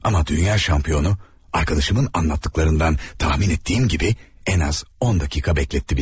Amma dünya çempionu dostumun danışdıqlarından təxmin etdiyim kimi ən az 10 dəqiqə gözlətdi bizi.